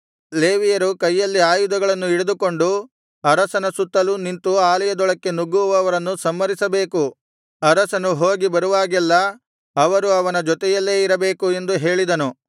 ಲೇವಿಯರು ಕೈಯಲ್ಲಿ ಆಯುಧಗಳನ್ನು ಹಿಡಿದುಕೊಂಡು ಅರಸನ ಸುತ್ತಲೂ ನಿಂತು ಆಲಯದೊಳಕ್ಕೆ ನುಗ್ಗುವವರನ್ನು ಸಂಹರಿಸಬೇಕು ಅರಸನು ಹೋಗಿ ಬರುವಾಗಲೆಲ್ಲಾ ಅವರು ಅವನ ಜೊತೆಯಲ್ಲೇ ಇರಬೇಕು ಎಂದು ಹೇಳಿದನು